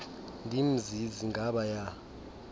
ndim zizi ngabaya